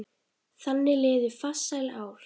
Þannig liðu farsæl ár.